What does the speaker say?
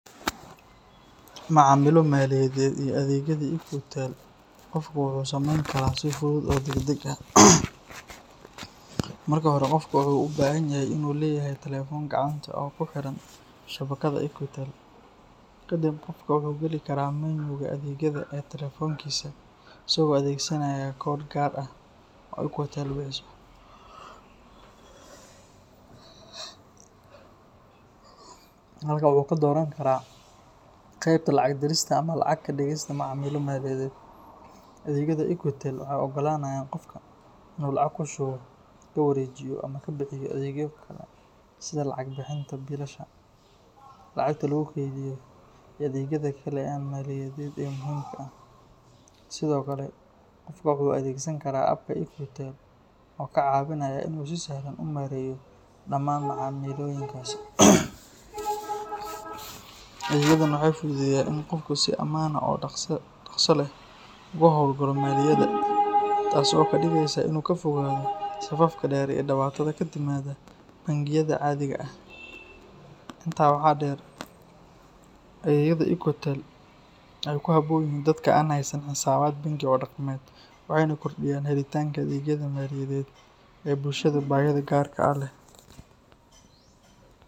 Macamilo maliyadeed iyo adeegyadii Equitel qofku wuu samayn karaa si fudud oo degdeg ah. Marka hore, qofka wuxuu u baahan yahay inuu leeyahay taleefan gacanta oo ku xiran shabakadda Equitel. Kadib, qofku wuxuu gali karaa menu-ga adeegyada ee taleefankiisa isagoo adeegsanaya koodh gaar ah oo Equitel bixiso. Halkaa wuxuu ka dooran karaa qeybta lacag dirista ama lacag ka dhigista macaamilo maliyadeed. Adeegyada Equitel waxay u oggolaanayaan qofka inuu lacag ku shubo, ku wareejiyo, ama ka bixiyo adeegyo kale sida lacag bixinta biilasha, lacagta lagu kaydiyo, iyo adeegyada kale ee maaliyadeed ee muhiimka ah. Sidoo kale, qofka waxa uu adeegsan karaa App-ka Equitel oo ka caawinaya inuu si sahlan u maareeyo dhammaan macaamilooyinkaasi. Adeegyadan waxay fududeeyaan in qofku si ammaan ah oo dhaqso leh ugu howlgalo maaliyadda, taasoo ka dhigaysa in uu ka fogaado safafka dheer iyo dhibaatada ka timaada bangiyada caadiga ah. Intaa waxaa dheer, adeegyada Equitel waxay ku habboon yihiin dadka aan haysan xisaabaad bangi oo dhaqameed, waxayna kordhiyaan helitaanka adeegyada maaliyadeed ee bulshada baahida gaarka ah leh.